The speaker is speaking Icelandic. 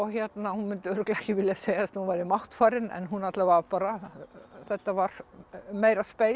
hún myndi örugglega ekki vilja segja að hún væri máttfarin en alla vega bara þetta var meira